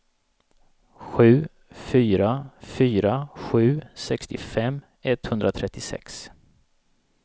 sju fyra fyra sju sextiofem etthundratrettiosex